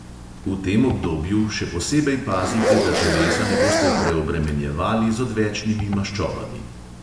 V tem obdobju še posebej pazite, da telesa ne boste preobremenjevali z odvečnimi maščobami.